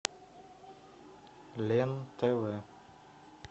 лен тв